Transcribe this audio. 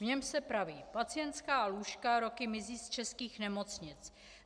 V něm se praví: Pacientská lůžka roky mizí z českých nemocnic.